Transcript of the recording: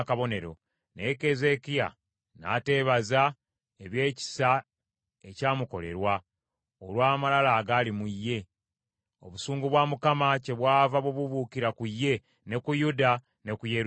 Naye Keezeekiya n’ateebaza ebyekisa ekya mukolerwa, olw’amalala agaali mu ye. Obusungu bwa Mukama kyebwava bubuubuukira ku ye ne ku Yuda ne ku Yerusaalemi.